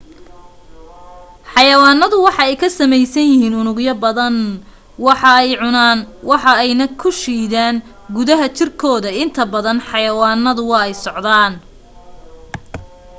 xayawaanadu waxa ay ka sameysan yihiin unugyo badan wax ayee cunaan waxa ayna ku shiidan gudaha jirkooda inta badan xayawanada waa ay socdaan